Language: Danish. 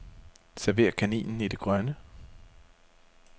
Server kaninen i det grønne.